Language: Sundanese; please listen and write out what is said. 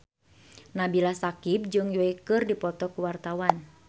Nabila Syakieb jeung Yui keur dipoto ku wartawan